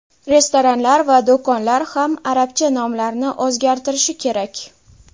Restoranlar va do‘konlar ham arabcha nomlarini o‘zgartirishi kerak.